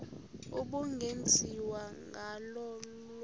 ubungenziwa ngalo olu